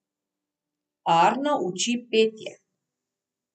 Arno uči petje.